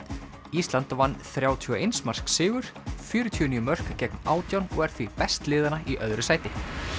ísland vann þrjátíu og eins marks sigur fjörutíu og níu mörk gegn átján og er því best liðanna í öðru sæti